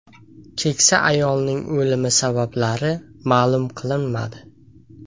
Keksa ayolning o‘limi sabablari ma’lum qilinmadi.